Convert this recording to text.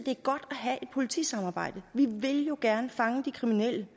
have et politisamarbejde vi vil jo gerne fange de kriminelle det